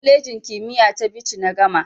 Kwalejin kimiyya ta Bichi na gama.